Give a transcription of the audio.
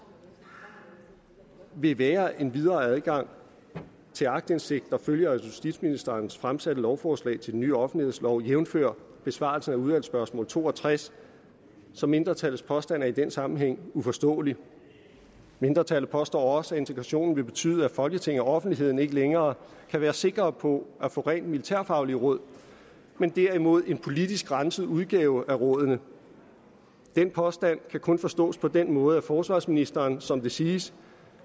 vil jo være en videre adgang til aktindsigt der følger af justitsministeren fremsatte lovforslag til den nye offentlighedslov jævnfør besvarelse af udvalgsspørgsmål to og tres så mindretallets påstand er i den sammenhæng uforståelig mindretallet påstår også at integrationen vil betyde at folketinget og offentligheden ikke længere kan være sikre på at få rent militærfaglige råd men derimod en politisk renset udgave af rådene den påstand kan kun forstås på den måde at forsvarsministeren som det siges